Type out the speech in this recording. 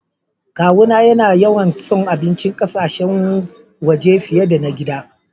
Kawu na ya na yawan son abincin ƙasashen waje fiyar da na gida.